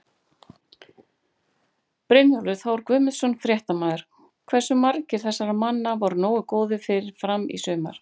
Brynjólfur Þór Guðmundsson, fréttamaður: Hversu margir þessara manna voru nógu góðir fyrir Fram í sumar?